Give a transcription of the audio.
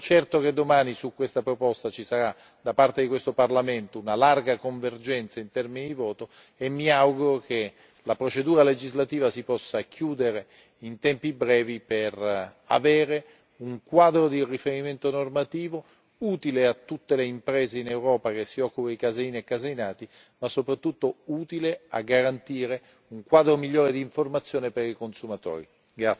Sono certo che domani su questa proposta ci sarà da parte di questo Parlamento una larga convergenza in termini di voto e mi auguro che la procedura legislativa si possa chiudere in tempi brevi per avere un quadro di riferimento normativo utile a tutte le imprese in Europa che si occupano di caseine e caseinati, ma soprattutto utile a garantire un quadro migliore di informazione per i consumatori.